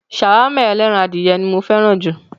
Ṣàwámà ẹlẹ́ran adìyẹ ni ó fẹ́ràn jù.